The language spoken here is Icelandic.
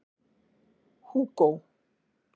Hugo